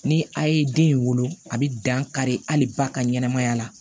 Ni a ye den in wolo a bi dan kari hali ba ka ɲɛnamaya la